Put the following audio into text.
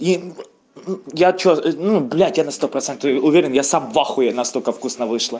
я что ну блять я на сто процентов уверен я сам в ахуе настолько вкусно вышло